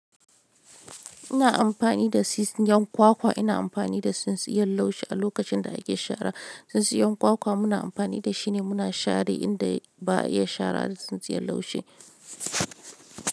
Ina amfani da tsintsiyan kwakwa, ina amfani da tsintsiyan laushi a lokacin da ake shara. Tsintsiyan kwakwa muna amfani da shi ne muna share inda ba iya share da tsintsiyan laushi.